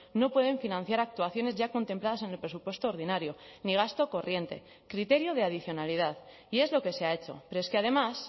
no pueden financiar actuaciones ya contempladas en el presupuesto ordinario ni gasto corriente criterio de adicionalidad y es lo que se ha hecho pero es que además